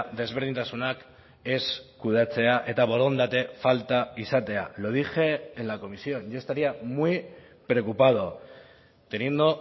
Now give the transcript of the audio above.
desberdintasunak ez kudeatzea eta borondate falta izatea lo dije en la comisión yo estaría muy preocupado teniendo